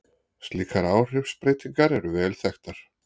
Slíkar áhrifsbreytingar eru vel þekktar.